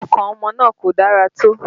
Ọkàn ọmọ náà kò dára tó